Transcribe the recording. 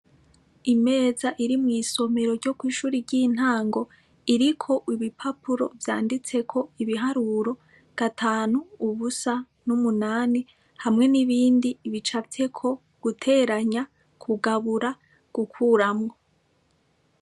Imeza iri mw'isomero ryo ko ishuri ry'intango iriko ibipapuro vyanditseko ibiharuro gatanu ubusa n'umunani hamwe n'ibindi bicayeko guteranya kugabura gukuramwo.